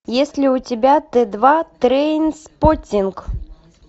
есть ли у тебя т два трейнспоттинг